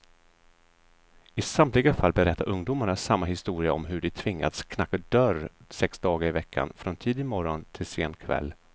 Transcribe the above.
I samtliga fall berättar ungdomarna samma historia om hur de tvingats knacka dörr sex dagar i veckan, från tidig morgon till sen kväll.